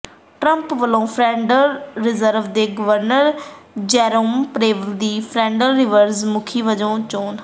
Trump ਵੱਲੋਂ federal reserve ਦੇ governor Jerome Powell ਦੀ ਫੈੱਡਰਲ ਰਿਜ਼ਰਵ ਮੁਖੀ ਵਜੋਂ ਚੋਣ